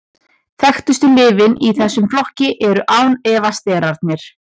þekktustu lyfin í þessum flokki eru án efa sterarnir